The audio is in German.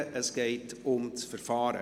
Es geht um das Verfahren.